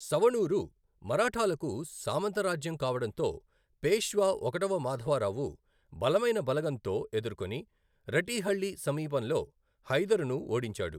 సవణూరు మరాఠాలకు సామంతరాజ్యం కావడంతో పేష్వా ఒకటవ మాధవరావు బలమైన బలగంతో ఎదుర్కొని రటీహళ్లి సమీపంలో హైదరును ఓడించాడు.